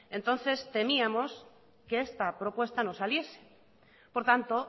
entonces temíamos que esta propuesta no saliese por tanto